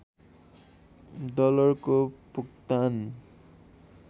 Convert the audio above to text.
डलरको भुक्तान